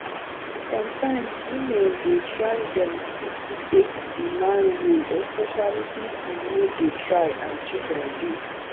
sometimes women dey try dem fit take di man role especially if im no dey try and children dey